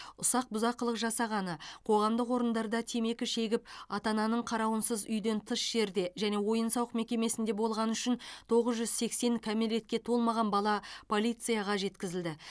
ұсақ бұзақылық жасағаны қоғамдық орындарда темекі шегіп ата ананың қарауынсыз үйден тыс жерде және ойын сауық мекемесінде болғаны үшін тоғыз жүз сексен кәмелетке толмаған бала полицияға жеткізілді